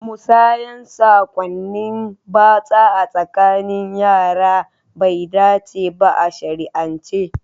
Musayar sakonnin batsa a tsakanin yara bai dace ba a shari'ance.